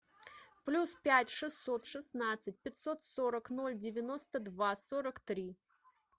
плюс пять шестьсот шестнадцать пятьсот сорок ноль девяносто два сорок три